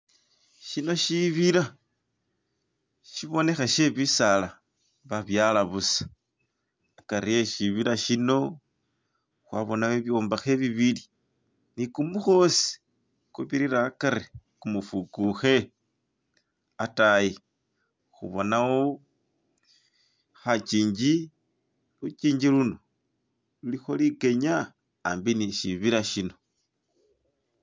shino shibila shibonekha she bisaala babyala busa akari eshibila shino khwabona bibyombakhe bibili ni kumukhosi kubirira akari kumufukukhe atayi khubonawo khakingi lukingi luno lulikho likenya aambi ni shibila shino.